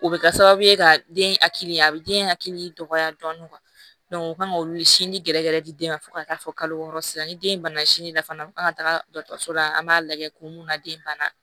O bɛ kɛ sababu ye ka den hakili a bɛ den hakili dɔgɔya dɔɔnin u kan ka olu sinji gɛrɛgɛrɛ di den ma fo ka taa fɔ kalo wɔɔrɔ sisan ni den banana sinji la fana kan ka taga dɔgɔtɔrɔso la an b'a lajɛ kun mun na den banna